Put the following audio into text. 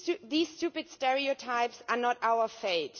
These stupid stereotypes are not our fate.